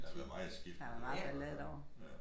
Der har været meget skiftende med dem i hver fald ja